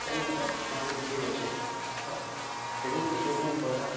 ସେଠୀ ଆମେ ପହିଲା